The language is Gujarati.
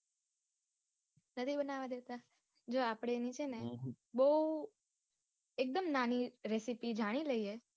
નથી બનાવ દેતા. જો આપડે એની છે ને બૌ એક દમ નાની recipe જાણી લઈએ.